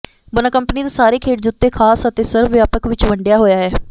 ਬੋਨਾ company ਦੇ ਸਾਰੇ ਖੇਡ ਜੁੱਤੇ ਖਾਸ ਅਤੇ ਸਰਵ ਵਿਆਪਕ ਵਿਚ ਵੰਡਿਆ ਹੋਇਆ ਹੈ